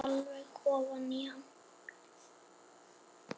Þreifar alveg ofan í hann.